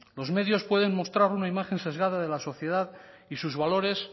los medios pueden mostrar una imagen sesgada de la sociedad y sus valores